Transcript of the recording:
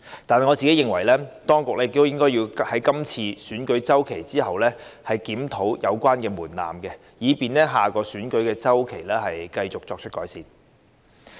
但是，我認為，當局亦應該在今次選舉周期後檢討有關門檻，以便在下個選舉周期繼續作出改善。